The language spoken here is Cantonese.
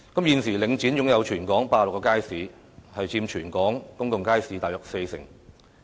現時，領展在香港擁有86個街市，佔全港公眾街市約四成。